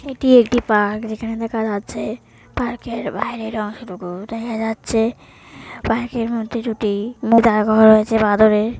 এটি একটি পার্ক যেখানে দেখা যাচ্ছে পার্ক -এর বাইরের অংশটুকু দেখা যাচ্ছে পার্কের মধ্যে দুটি মেটার ঘর আছে বাঁদররে।